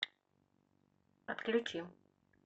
отключи